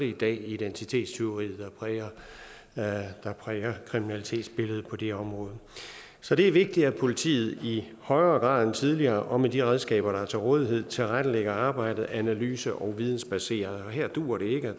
i dag identitetstyveriet der præger kriminalitetsbilledet på det område så det er vigtigt at politiet i højere grad end tidligere og med de redskaber der er til rådighed tilrettelægger arbejdet analyse og vidensbaseret og her duer det ikke at